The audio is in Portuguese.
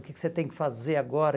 O que que você tem que fazer agora?